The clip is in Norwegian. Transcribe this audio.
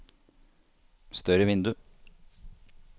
større vindu